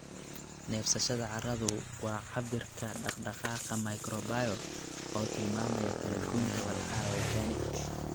Neefsashada carradu waa cabbirka dhaqdhaqaaqa microbial, oo tilmaamaya kala-goynta walxaha organic.